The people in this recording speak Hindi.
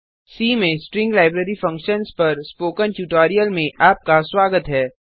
सी में स्ट्रिंग लाइब्रेरी फंक्शन्स पर स्पोकन ट्यूटोरियल में आपका स्वागत है